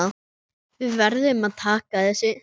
Við verðum að taka þessu.